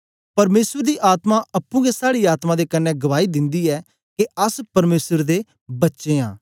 परमेसर दी आत्मा अप्पुं गै साड़ी आत्मा दे कन्ने गवाई दिन्दी ऐ के अस परमेसर दे बच्चे आं